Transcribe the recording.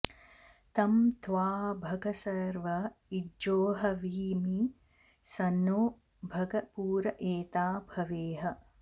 तं त्वा॑ भग॒ सर्व॒ इज्जो॑हवीमि॒ स नो॑ भग पुर ए॒ता भ॑वे॒ह